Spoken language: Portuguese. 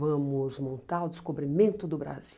Vamos montar o descobrimento do Brasil.